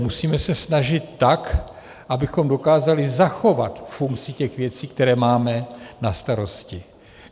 Musíme se snažit tak, abychom dokázali zachovat funkci těch věcí, které máme na starosti.